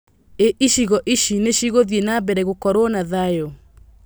Ĩ icigo ici nĩcigũthiĩ na mbere gũkorwo na thayu?